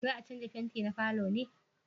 za a canja fenti na falo ne?